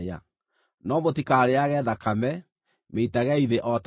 No mũtikarĩĩage thakame; mĩitagei thĩ o ta maaĩ.